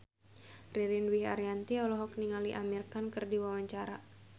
Ririn Dwi Ariyanti olohok ningali Amir Khan keur diwawancara